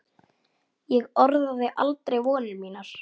Ég orðaði aldrei vonir mínar.